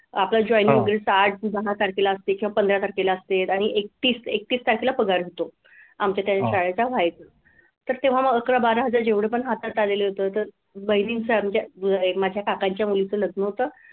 आपलं joining वगेरे सहा ते दहा तारखेला असते किंवा पंधरा तारखेला असते आणि एकतीस एकतीस तारखेला पगार होतो. आमच्या त्या शाळेत व्हायचा. तर तेव्हा मग अकरा बारा हजार जेवढे पण हातात आलेले होते तर बहिणीच्या म्हणजे माझ्या काकांच्या मुलीचं लग्न होतं.